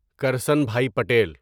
Karsanbhai Patel